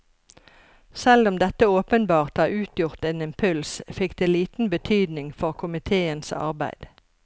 Selv om dette åpenbart har utgjort en impuls, fikk det liten betydning for komiteens arbeid.